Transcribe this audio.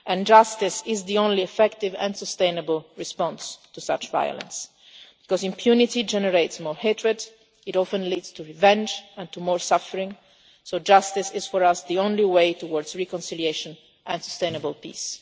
Justice is the only effective and sustainable response to such violence because impunity generates more hatred and often leads to revenge and more suffering. So justice is, for us, the only way towards reconciliation and sustainable peace.